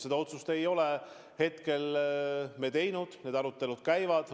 Seda otsust me ei ole hetkel teinud, need arutelud käivad.